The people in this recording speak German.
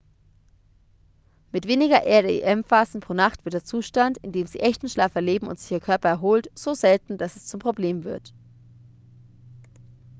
mit weniger rem-phasen pro nacht wird der zustand in dem sie echten schlaf erleben und sich ihr körper erholt so selten dass es zum problem wird